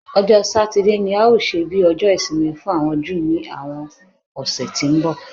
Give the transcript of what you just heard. Ọjọ́ Satide ni a óò ṣe bí Ọjọ́ Ìsinmi fún àwọn Júù ní àwọn ọ̀sẹ̀ tí ń bọ̀